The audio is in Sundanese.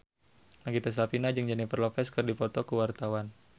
Nagita Slavina jeung Jennifer Lopez keur dipoto ku wartawan